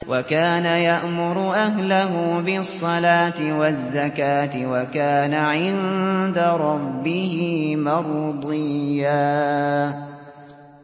وَكَانَ يَأْمُرُ أَهْلَهُ بِالصَّلَاةِ وَالزَّكَاةِ وَكَانَ عِندَ رَبِّهِ مَرْضِيًّا